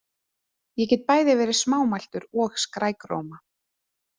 Ég get bæði verið smámæltur og skrækróma.